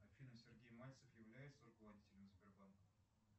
афина сергей мальцев является руководителем сбербанка